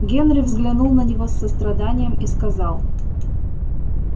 генри взглянул на него с состраданием и сказал